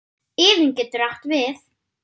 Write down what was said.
Iðunn getur átt við